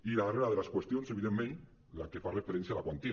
i la darrera de les qüestions evidentment la que fa referència a la quantia